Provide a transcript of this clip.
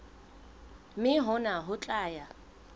mme hona ho tla ya